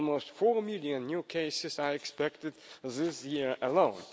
almost four million new cases are expected this year alone.